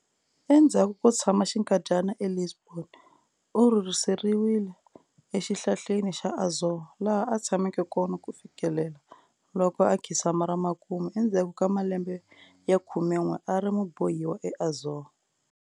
Endzhaku ko tshama xinkadyana e lisbon, u rhurhiseriwe exihlaleni xa Azore, laha a tshameke kona kufikela loko a khinsama ra makumu endzhaku ka malembe ya khumenw'e a ri mubohiwa e azore.